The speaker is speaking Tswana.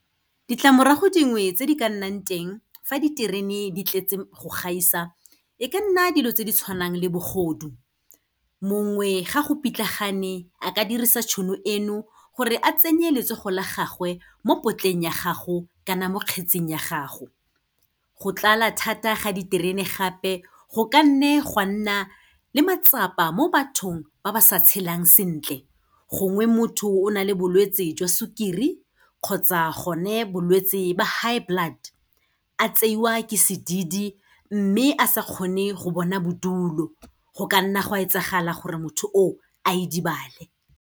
Ditlamorago dingwe tse di ka nnang teng fa diterene di tletse go gaisa, e ka nna dilo tse di tshwanang le bogodu. Mongwe ga go pitlagane a ka dirisa tšhono eno gore a tsenye letsogo la gagwe mo potleng ya gago, kana mo kgetseng ya gago. Go tlala thata ga diterene gape go ka nne gwa nna le matsapa mo bathong ba ba sa tshelang sentle, gongwe motho o na le bolwetsi jwa sukiri kgotsa gone bolwetse ba high blood, a tseiwa ke sedidi, mme a sa kgone go bona bodulo, go ka nna gwa etsagala gore motho o a idibale.